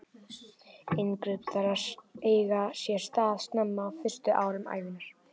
Inngrip þarf að eiga sér stað snemma, á fyrstu árum ævinnar.